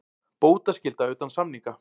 Bótaskylda utan samninga.